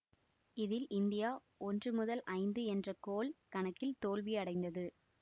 இதில் இந்தியா ஒன்று முதல் ஐந்து என்ற கோல் கணக்கில் தோல்வி அடைந்தது